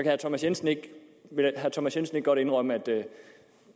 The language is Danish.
herre thomas jensen ikke godt indrømme at